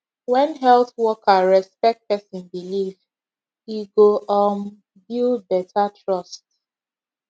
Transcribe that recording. when health worker respect person belief e go um build better trust